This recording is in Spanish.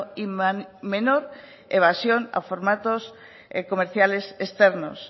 y menor evasión a formatos comerciales externos